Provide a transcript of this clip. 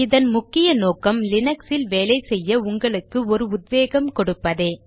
இதன் முக்கிய நோக்கம் லீனக்ஸில் வேலை செய்ய உங்களுக்கு ஒரு உத்வேகம் கொடுப்பதே